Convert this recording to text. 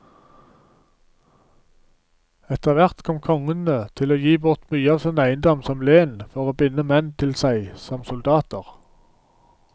Etterhvert kom kongene til å gi bort mye av sin eiendom som len for å binde menn til seg som soldater.